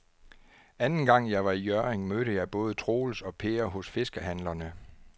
Anden gang jeg var i Hjørring, mødte jeg både Troels og Per hos fiskehandlerne.